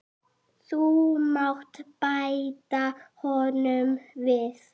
Þú mátt bæta honum við.